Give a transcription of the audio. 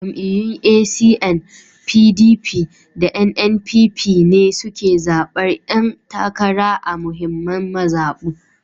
Jam’iyyun ACN, PDP, da NNPP ne suke zaɓar ƴan takara a muhimman mazaɓu